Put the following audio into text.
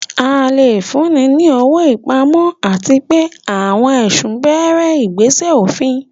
A lè fúnni ní owó ìpamọ́, àti pé àwọn ẹ̀sùn bẹ̀rẹ̀ ìgbésẹ̀ òfin.